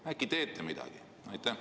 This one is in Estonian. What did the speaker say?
Äkki teete midagi?